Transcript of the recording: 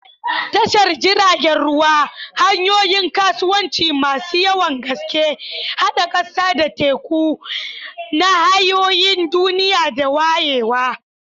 Tashar jiragen ruwa, hanyoyin kasuwanci masu yawan gaske, haɗa ƙasa da teku, nahiyoyin duniya da wayewa.